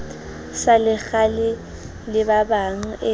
sa lekgala le babang e